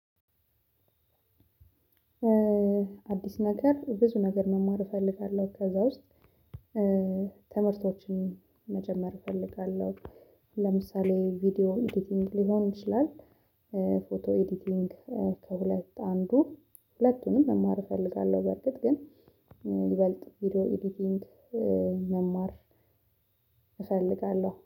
አዲስ ነገር ብዙ ነገር መማር እፈልጋለሁ። ከዛ ውስጥ ትምህርቶችን መጀመር እፈልጋለሁ ለምሳሌ ቪዲዮ ኤዲቲንግ ሊሆን ይችላል ፎቶ ኤዲቲንግ ከበላይታ አንዱ ሁለቱንም መማር እፈልጋለሁ በርግጥ ግን ይበልጥ ቪዲዮ ኤዲቲንግ መማር እፈልጋለሁ